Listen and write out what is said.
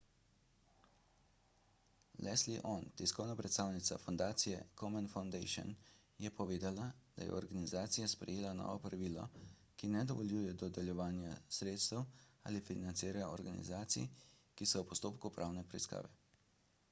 leslie aun tiskovna predstavnica fundacije komen foundation je povedala da je organizacija sprejela novo pravilo ki ne dovoljuje dodeljevanja sredstev ali financiranja organizacij ki so v postopku pravne preiskave